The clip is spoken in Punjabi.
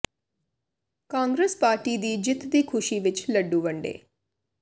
ਕਾਂਗਰਸ ਪ ਾਰਟੀ ਦੀ ਜਿੱਤ ਦੀ ਖੁਸ਼ੀ ਵਿਚ ਲੱਡੂ ਵੰਡੇ